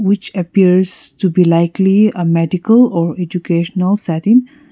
which appears to be likely a medical are educational setting.